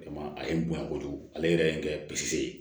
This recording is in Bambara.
A ye n bonya kojugu ale yɛrɛ ye n kɛ pise